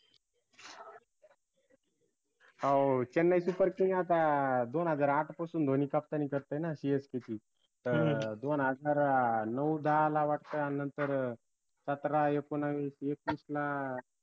हाओ chennai super king आता दोन हजार आठ पासून धोनी कप्तानी करतोय ना CSK ची दोन हजार नऊ, दहाला वक्ता नंतर अं सतरा, एकोणवीस, वीस, एकवीसला